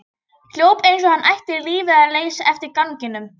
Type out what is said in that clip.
Hljóp eins og hann ætti lífið að leysa eftir ganginum.